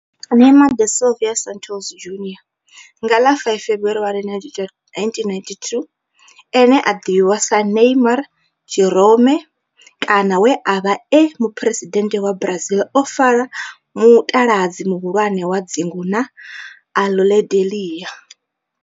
Neymar da Silva Santos Junior, nga ḽa 5 February 1992, ane a ḓivhiwa sa Ne'ymar' Jeromme kana we a vha e muphuresidennde wa Brazil o fara mutaladzi muhulwane wa dzingu na Aludalelia.